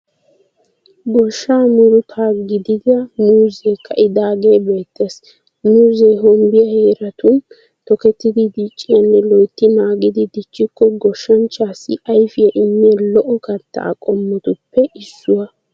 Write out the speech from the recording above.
Goshshaa murutaa gidida muuzzee ka'idaagee beettees. Muuzze hombbiya heeratun tokettidi dicciyaanne loytti naagidi dichchikko goshanchchaassi ayfiya immiya lo'o kattaa qommotuppe issuwa.